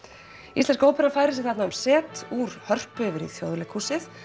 íslenska óperan færir sig þarna um set úr Hörpu yfir í Þjóðleikhúsið